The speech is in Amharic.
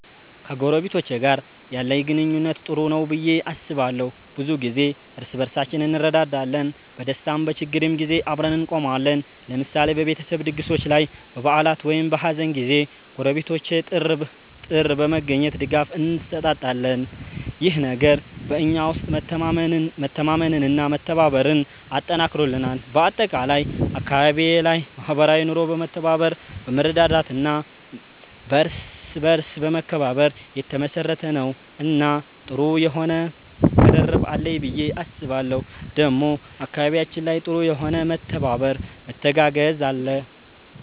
ከጎረቤቶቼ ጋር ያለኝ ግንኙነት ጥሩ ነው ብዬ አስባለሁ። ብዙ ጊዜ እርስ በርሳችን እንረዳዳለን፣ በደስታም በችግርም ጊዜ አብረን እንቆማለን። ለምሳሌ በቤተሰብ ድግሶች ላይ፣ በበዓላት ወይም በሀዘን ጊዜ ጎረቤቶቼ ጥር በመገኘት ድጋፍ እንሰጣጣለን። ይህ ነገር በእኛ ውስጥ መተማመንና መተባበርን አጠንክሮልናል። በአጠቃላይ አካባቢዬ ላይ ማህበራዊ ኑሮ በመተባበር፣ በመረዳዳት እና በእርስ በርስ መከባበር የተመሰረተ ነው እና ጥሩ የሆነ ቅርርብ አለኝ ብዬ አስባለሁ ዴሞ አካባቢያችን ላይ ጥሩ የሆነ መተባበር መተጋገዝ አለ።